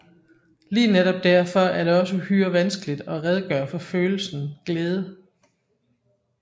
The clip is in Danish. Lige netop derfor er det også uhyre vanskeligt at redegøre for følelsen glæde